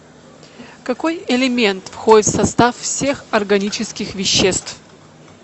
какой элемент входит в состав всех органических веществ